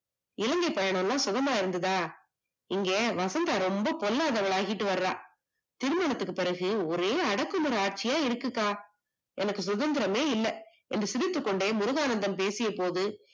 இலங்கை பயணமெல்லாம் சுகமா இருந்ததா? இங்க வசந்தா ரொம்ப பொல்லாதவளா ஆகிட்டுவரா. திருமணத்துக்கு பிறகு ஒரே அடக்குமுறை ஆட்சியா இருக்குக்கா, எனக்கு சுதந்தரமே இல்ல, என்று சிரித்துகொண்டே முருகானந்தம் பேசியபோது